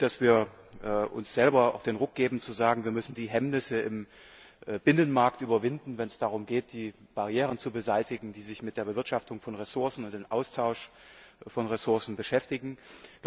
Ich finde es gut, dass wir uns selber den Ruck geben zu sagen Wir müssen die Hemmnisse im Binnenmarkt überwinden, wenn es darum geht, die Barrieren zu beseitigen, die die Bewirtschaftung von Ressourcen und den Austausch von Ressourcen betreffen.